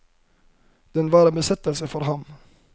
Den var en besettelse for ham.